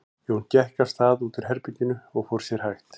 Jón gekk af stað út úr herberginu og fór sér hægt.